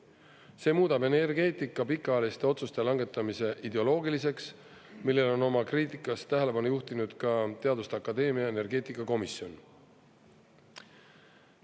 See muudab energeetika pikaajaliste otsuste langetamise ideoloogiliseks, millele on oma kriitikas tähelepanu juhtinud ka teaduste akadeemia energeetikakomisjon.